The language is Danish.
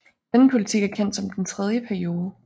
Denne politik er kendt som den tredje periode